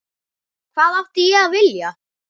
Hvað átti ég að vilja?